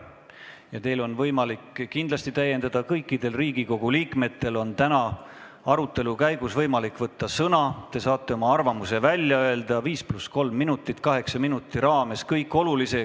Kindlasti on teil võimalik öeldut täiendada, kõikidel Riigikogu liikmetel on täna arutelu käigus võimalik sõna võtta, te saate oma arvamuse välja öelda 5 + 3 minuti, s.o kaheksa minuti raames.